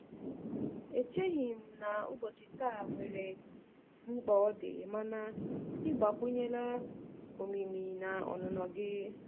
Echeghị m na ubochia taa nwere mkpa ọdi, mana ị gbakwunyela omimi na ọnụnọ gị.